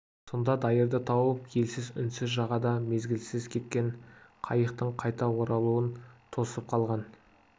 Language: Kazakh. сонда дайырды тауып елсіз үнсіз жағада мезгілсіз кеткен қайықтың қайта оралуын тосып қалған